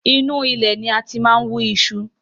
Inu ilẹ̀ ni a ti máa ń wú iṣu